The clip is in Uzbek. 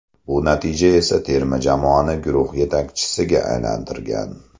Bu natija esa terma jamoani guruh yetakchisiga aylantirgan.